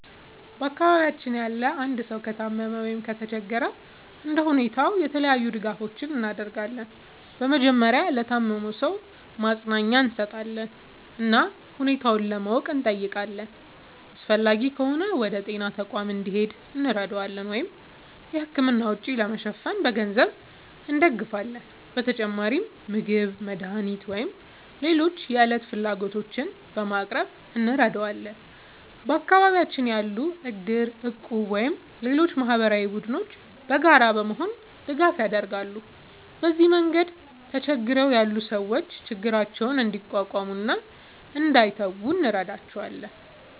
በአካባቢያችን ያለ አንድ ሰው ከታመመ ወይም ከተቸገረ እንደ ሁኔታው የተለያዩ ድጋፎችን እናደርጋለን። በመጀመሪያ ለታመመው ሰው ማጽናኛ እንሰጣለን እና ሁኔታውን ለማወቅ እንጠይቃለን። አስፈላጊ ከሆነ ወደ ጤና ተቋም እንዲሄድ እንረዳዋለን ወይም የሕክምና ወጪ ለመሸፈን በገንዘብ እንደግፋለን። በተጨማሪም ምግብ፣ መድኃኒት ወይም ሌሎች የዕለት ፍላጎቶችን በማቅረብ እንረዳዋለን። በአካባቢያችን ያሉ እድር፣ እቁብ ወይም ሌሎች ማህበራዊ ቡድኖችም በጋራ በመሆን ድጋፍ ያደርጋሉ። በዚህ መንገድ ተቸግረው ያሉ ሰዎች ችግራቸውን እንዲቋቋሙ እና እንዳይተዉ እንረዳቸዋለን።